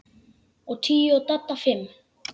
Ég tíu og Dadda fimm.